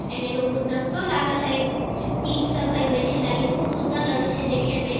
एमे एगो गुलदस्ता लागल हेय सीट सब हेय बइठे लागे बहुत सुन्दर लागे छै देखे में।